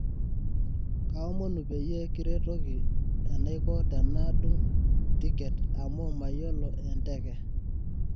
kaomonu peyie kiretoki enaiko tena dung tiket amu mayolo e nteke